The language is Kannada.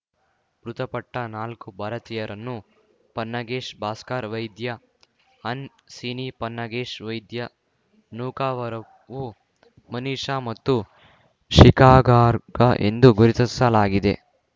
ಮೃತಪಟ್ಟ ನಾಲ್ಕು ಭಾರತೀಯರನ್ನು ಪನ್ನಾಗೇಶ್ ಭಾಸ್ಕರ್ ವೈದ್ಯ ಹನ್ ಸಿನಿ ಪನ್ನಾಗೇಶ್ ವೈದ್ಯ ನೂಕವರಪು ಮನಿಷ ಮತ್ತು ಶಿಖಾಗಾರ್ಗ್ ಎಂದು ಗುರುತಿಸಲಾಗಿದೆ